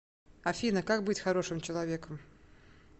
афина как быть хорошим человеком